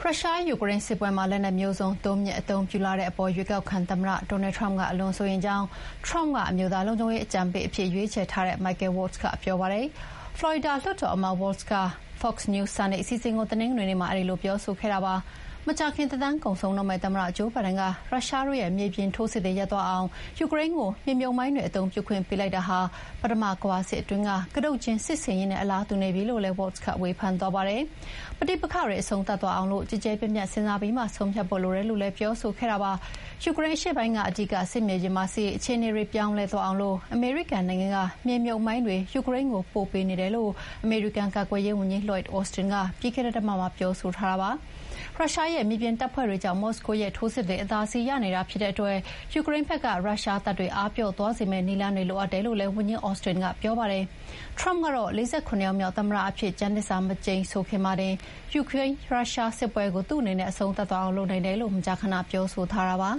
ရှား ယူကရိန်းစစ်ပွဲမှာ လက်နက်မျိုးစုံ တိုးမြင့်အသုံးပြုလာတဲ့အပေါ် ရွေးကောက်ခံသမ္မတ Donald Trump ကအလွန်စိုးရိမ်ကြောင်း Trump က အမျိုးသားလုံခြုံရေးအကြံပေးအဖြစ်ရွေးချယ်ထားတဲ့ Michael Waltz က ပြောပါတယ်။ ဖလော်ရီဒါလွှတ်တော်အမတ် Waltz က “ Fox News Sunday” အစီအစဥ်ကို တနင်္ဂနွေနေ့မှာ အဲဒီလိုပြောဆိုခဲ့တာပါ။ မကြာခင်သက်တမ်းကုန်ဆုံးတော့မယ့် သမ္မတဂျိုးဘိုင်ဒန်က ရုရှားတို့ရဲ့ မြေပြင်ထိုးစစ်တွေရပ်သွားအောင် ယူကရိန်းကို မြေမြှပ်မိုင်းတွေအသုံးပြုခွင့်ပေးလိုက်တာဟာ ပထမကမ္ဘာစစ်တွင်းက ကတုတ်ကျင်းစစ်ဆင်ရေးနဲ့ အလားတူနေပြီလို့လည်း Waltz က ဝေဖန်သွားပါတယ်။ ပဋိပက္ခတွေအဆုံးသတ်သွားအောင် ကျယ်ကျယ်ပြန့်ပြန့် စဥ်စားပြီးမှ ဆုံးဖြတ်ဖို့လိုတယ်လို့လည်းပြောဆိုခဲ့တာပါ။ ယူကရိန်းအရှေ့ပိုင်းက အဓိက စစ်မြေပြင်မှာ စစ်ရေးအခြေအနေတွေပြောင်းလဲ သွားအောင် အမေရိကန်နိုင်ငံက မြေမြှပ်မိုင်းတွေ ယူကရိန်းကို ပို့ပေးနေတယ်လို့ အမေရိကန်ကာကွယ်ရေးဝန်ကြီး Lloyd Austin က ပြီးခဲ့တဲ့တပတ်မှာပြောဆိုခဲ့ပါတယ်။ ရုရှားရဲ့ မြေပြင်တပ်ဖွဲ့တွေကြောင့် မော်စကိုရဲ့ ထိုးစစ်တွေအသာစီးရနေတာဖြစ်တဲ့အတွက် ယူကရိန်းဖက်က ရုရှားတပ်တွေအားပျော့သွားစေမယ့် နည်းလမ်းတွေလိုအပ်တယ်လို့လည်း ဝန်ကြီး Austin ကပြောပါတယ်။ Trump ကတော့ ၄၇ ယောက်မြောက်သမ္မတအဖြစ် ကျမ်းသစ္စာမကျိန်ဆိုခင်မှာ ရုရှားယူကရိန်းစစ်ပွဲကို သူ့အနေနဲ့ အဆုံးသတ်သွားအောင် လုပ်နိုင်တယ်လို့ မကြာခဏပြောဆိုထားတာပါ